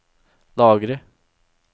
lagre